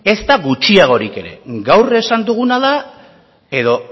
ezta gutxiagorik ere gaur esan duguna da edo